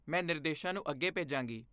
ਮੈਂ ਨਿਰਦੇਸ਼ਾਂ ਨੂੰ ਅੱਗੇ ਭੇਜਾਂਗੀ।